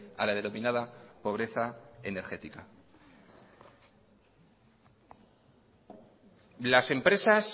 a la denominada pobreza energética las empresas